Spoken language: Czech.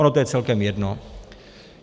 Ono to je celkem jedno.